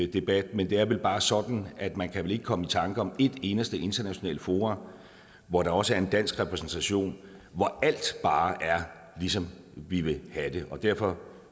debat men det er vel bare sådan at man ikke kan komme i tanke om et eneste internationalt forum hvor der også er en dansk repræsentation hvor alt bare er ligesom vi vil have det og derfor